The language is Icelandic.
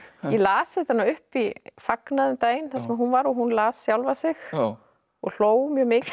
ég las þetta nú upp í fagnaði um daginn þar sem hún var og hún las sjálfa sig og hló mjög mikið